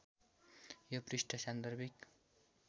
यो पृष्ठ सान्दर्भिक